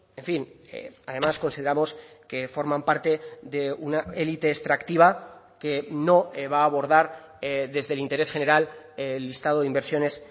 en fin además consideramos que forman parte de una élite extractiva que no va a abordar desde el interés general el listado de inversiones